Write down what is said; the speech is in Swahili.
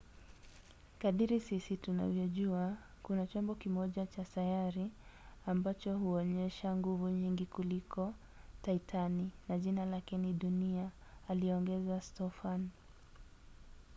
kadiri sisi tunavyojua kuna chombo kimoja cha sayari ambacho huonyesha nguvu nyingi kuliko titani na jina lake ni dunia,” aliongeza stofan